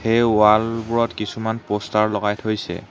এই ৱাল বোৰত কিছুমান প'ষ্টাৰ লগাই থৈছে।